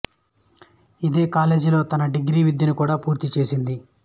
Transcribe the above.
ఇదే కాలేజ్ లో తన డిగ్రీ విద్యను కూడా పూర్తీ చేసింది